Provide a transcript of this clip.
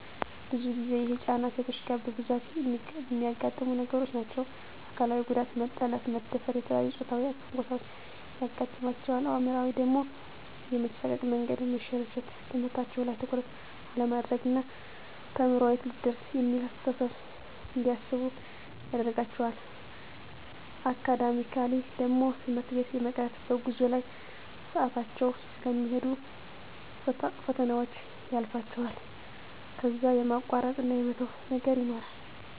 ብዙ ጊዜ ይሄ ጫና ሴቶች ጋ በብዛት እሚያጋጥሙ ነገሮች ናቸዉ። አካላዊ ጉዳት መጠለፍ፣ መደፈር፣ የተለያዬ ፆታዊ ትንኮሳዎች ያጋጥማቸዋል። አእምሯዊ ደሞ የመሳቀቅ፣ መንገዱ የመሰልቸት፣ ትምህርታቸዉ ላይ ትኩረት አለማድረግ ና ተምሬ የት ልደርስ እሚል አስተሳሰብ እንዲያስቡ ያደርጋቸዋል። አካዳሚካሊ ደሞ ትምህርት ቤት የመቅረት፣ በጉዞ ላይ ሰአታቸዉ ስለሚሄድ ፈተናዎች ያልፋቸዋል ከዛ የማቋረጥ እና የመተዉ ነገር ይኖራል።